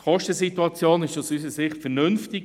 Die Kostensituation ist aus unserer Sicht vernünftig.